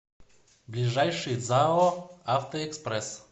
ближайший зао автоэкспресс